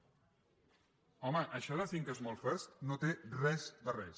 home això de small first no té res de res